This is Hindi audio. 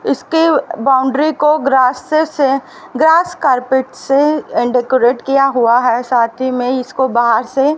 इसके बाउंड्री को ग्रास्ते से ग्रास कारपेट से डेकोरेट किया हुआ है साथ ही में इसको बाहर से--